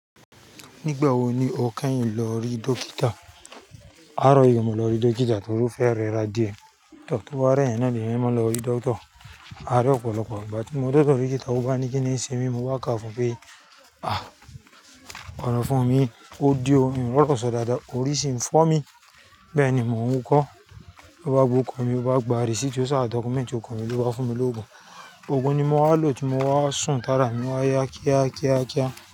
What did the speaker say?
Nígbà wo ni o kẹ́yìn lọ rí dókítà? Á rọ̀ yé mi lọ rí dókítà torí ó fẹ́ rẹra díẹ̀. To to bá rẹ́ yan náà ni eeyan ma n lọ rí dókítà. A rí ọ̀pọ̀lọpọ̀, ìgbà tí mo de ọ́do dókítà, ó bá ni kí ni ń ṣe mi, mo bá kà fún pé, ah, ọ̀na fún mi, ó di ọ́ mi o ri oro sọ̀ dáadáa, orí ṣe ń fọ́ mi. Bẹ́ẹ̀ ni mò ń wukọ́, ó bá gba ọrukọ̀ mi, ó bá gba receipt tí ó sá, document tí órukọ mi ló bá fún mi lóògùn. Ògùn ni mo wá lò tí mo wá sùn tára mi wá yá kíákíákíá.